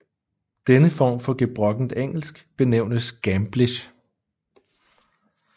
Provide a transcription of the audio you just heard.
Denne form for gebrokkent engelsk benævnes gamblish